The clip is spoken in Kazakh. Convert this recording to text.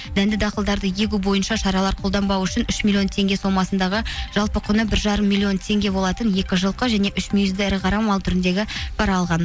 дәнді дақылдарды егу бойынша шаралар қолданбау үшін үш миллион теңге сомасындағы жалпы құны бір жарым миллион теңге болатын екі жылқы және үш мүйізді ірі мал түріндегі пара алған